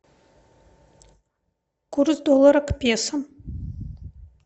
курс доллара к песо